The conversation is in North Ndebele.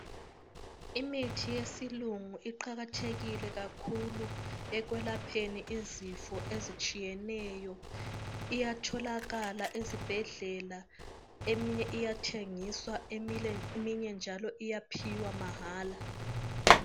Imithi yesilungu iqakathekile kakhulu ekwelapheni izifo ezitshiyeneyo . Iyatholakala ezibhedlela, eminye iyathengiswa , eminye njalo iyaphiwa mahala.